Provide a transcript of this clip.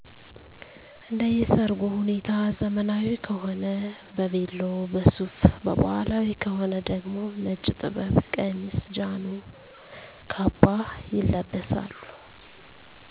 እንደየ ሰርጉ ሁኔታ ዘመናዊ ከሆነ በቬሎ፣ በሱፍ በባህላዊ ከሆነ ደግሞ ነጭ ጥበብ ቀሚስ፣ ጃኖ፣ ካባ ይለበሳሉ።